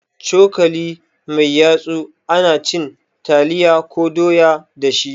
Cokali mai yatsu ana cin taliya ko doya dashi